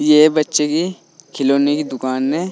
ये बच्चे की खिलौने की दुकान है।